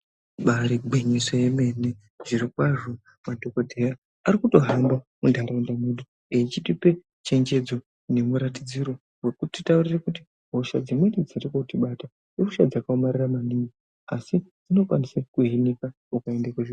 Ibari gwinyiso remene zvirokwazvo madhokodheya arikutohamba muntaraunda mwedumwo eyichitipe che njedzo nemuratidziro wekutitaurira kuti hosha dzimweni dzirikuti bata ihosha dzakaomarara maningi asi dzino kwanisa kuhinika ukaenda kuzvibhedhlera.